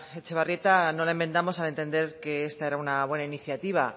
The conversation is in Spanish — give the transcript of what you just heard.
etxebarrieta no la enmendamos al entender que esta era una buena iniciativa